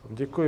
Děkuji.